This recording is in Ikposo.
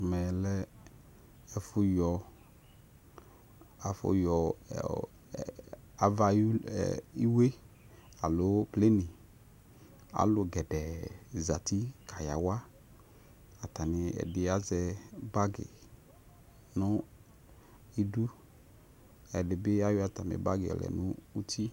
Ɛmɛlɛ ɛfʊ yɔ ava ayʊ iwʊ yɛ alʊ gɛdɛ zatɩ kayawa ɛdɩ azɛ bagi nʊ ɩdʊ ɛdɩ ayɔ bagi yɔlɛ nʊ ʊtɩ